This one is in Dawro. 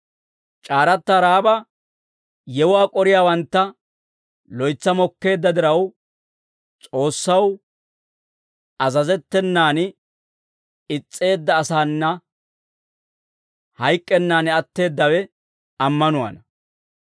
C'aaratta Ra'aaba yewuwaa k'oriyaawantta loytsa mokkeedda diraw, S'oossaw azazettenan is's'eedda asaana hayk'k'ennan atteeddawe ammanuwaana.